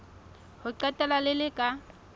ho qetela le le ka